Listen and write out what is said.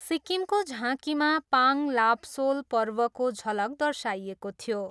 सिक्किमको झाँकीमा पाङ लाब्सोल पर्वको झलक दर्शाइएको थियो।